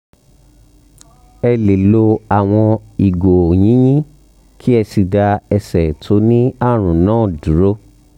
ẹ lè lo àwọn ìgò yìnyín kí ẹ sì dá ẹsẹ̀ tó ní àrùn náà dúró